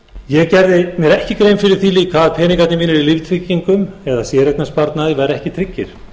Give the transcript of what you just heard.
ég gerði mér ekki grein fyrir því líka að peningarnir mínir í líftryggingum eða í séreignarsparnaði væru ekki tryggir